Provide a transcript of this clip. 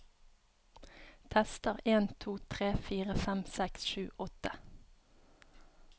Tester en to tre fire fem seks sju åtte